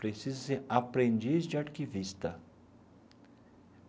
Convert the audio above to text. Precisa-se aprendiz de arquivista.